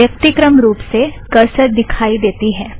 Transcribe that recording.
व्यक्तिक्रम रुप से करसर दिखाई देती है